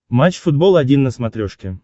матч футбол один на смотрешке